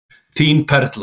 Þín Perla.